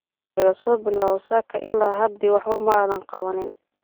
Laka sobilawo saka ila hadi waxbo madhan kawanin.